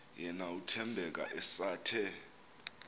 yena uthembeka esathe